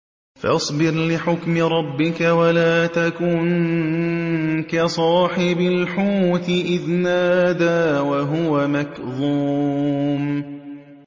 فَاصْبِرْ لِحُكْمِ رَبِّكَ وَلَا تَكُن كَصَاحِبِ الْحُوتِ إِذْ نَادَىٰ وَهُوَ مَكْظُومٌ